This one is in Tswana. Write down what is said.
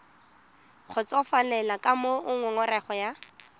kgotsofalele ka moo ngongorego ya